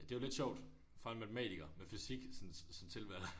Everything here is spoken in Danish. Det jo lidt sjovt. Min far er matematiker med fysik som som tilvalg